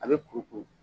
A bɛ kuru kuru